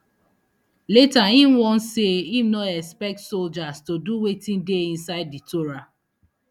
later im warn say im no expect soldiers to do wetin dey inside di torah